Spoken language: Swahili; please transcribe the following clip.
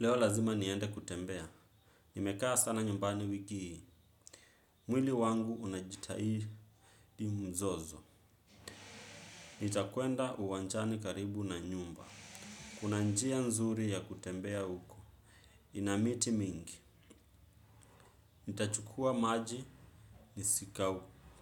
Leo lazima niende kutembea. Nimekaa sana nyumbani wiki hii. Mwili wangu unajitahidi mzozo. Nitakwenda uwanjani karibu na nyumba. Kuna njia nzuri ya kutembea huko. Ina miti mingi. Nitachukua maji